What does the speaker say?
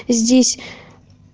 здесь